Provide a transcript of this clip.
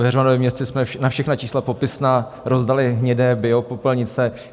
V Heřmanově Městci jsme na všechna čísla popisná rozdali hnědé biopopelnice.